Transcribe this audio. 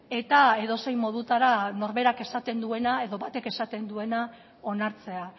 eta edozein modutara norberak esaten duena edo batek esaten duen onartzea